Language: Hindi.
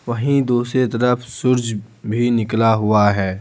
वहीं दूसरे तरफ सूरज भी निकला हुआ है।